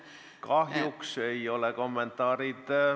Kahjuks ei ole kommentaarid ...